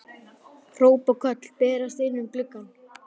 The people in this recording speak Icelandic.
Hróp og köll berast inn um gluggann.